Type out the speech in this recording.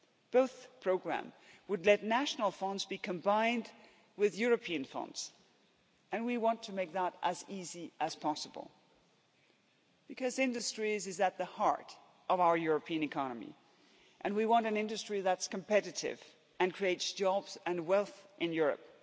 Both programmes would let national funds be combined with European funds, and we want to make that as easy as possible, because industry is at the heart of our European economy and we want an industry that's competitive and creates jobs and wealth in Europe.